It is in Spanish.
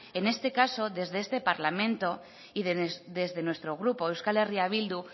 en este caso desde este parlamento y desde nuestro grupo euskal herria bildu